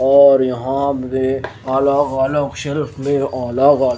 और यहां पे अलग अलग शेल्फ में अलग अलग--